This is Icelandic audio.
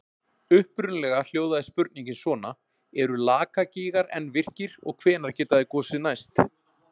Upprunalega hljóðaði spurningin svona: Eru Lakagígar enn virkir og hvenær geta þeir gosið næst?